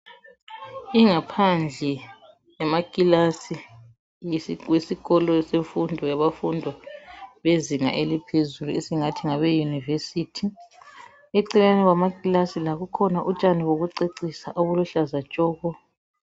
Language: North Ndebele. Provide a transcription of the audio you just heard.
Ingaphandle yamakilasi yesikolo semfundo yezinga laphezulu esingathi Yi yunivesithi Eceleni kwamakilasi lapha kukhona utshani bokucecisa obuluhlaza tshoko.